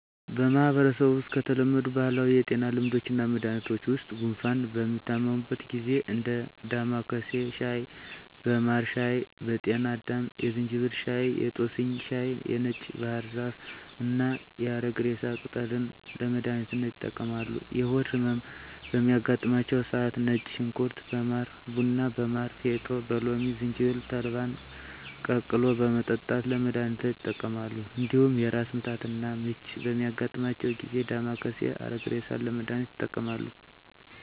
በማህበረሰቡ ውስጥ ከተለመዱ ባህላዊ የጤና ልምዶችና መድሀኒቶች ውስጥ ጉንፋን በሚታመሙበት ጊዜ እንደ ዳማካሴ ሻይ በማር ሻይ በጤና አዳም የዝንጅብል ሻይ የጦስኝ ሻይ የነጭ ባህር ዛፍና የአረግሬሳ ቅጠልን ለመድሀኒትነት ይጠቀማሉ። የሆድ ህመም በሚያጋጥማቸው ሰዓት ነጭ ሽንኩርት በማር ቡና በማር ፌጦ በሎሚ ዝንጅብል ተልባን ቀቅሎ በመጠጣት ለመድሀኒትነት ይጠቀማሉ። እንዲሁም የራስ ምታትና ምች በሚያጋጥማቸው ጊዜ ዳማካሴ አረግሬሳን ለመድሀኒትነት ይጠቀማሉ።